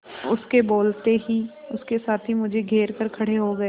उसके बोलते ही उसके साथी मुझे घेर कर खड़े हो गए